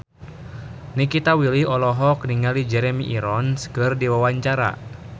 Nikita Willy olohok ningali Jeremy Irons keur diwawancara